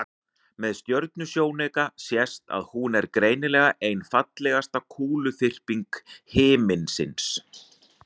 með stjörnusjónauka sést að hún er greinilega ein fallegasta kúluþyrping himinsins